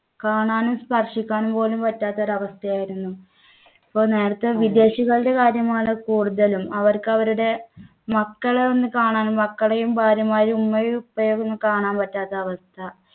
കാണാനും സ്പർശിക്കാനും പോലും പറ്റാത്ത ഒരു അവസ്ഥയായിരുന്നു. ഇപ്പോ നേരത്തെ വിദേശികളുടെ കാര്യമാണ് കൂടുതലും. അവർക്ക് അവരുടെ മക്കളെ ഒന്ന് കാണാനും മക്കളേം ഭാര്യമാരെയും ഉമ്മയും ഉപ്പയെ ഒക്കെ ഒന്ന് കാണാൻ പറ്റാത്ത അവസ്ഥ.